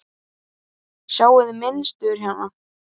Sjáiði mynstur hérna?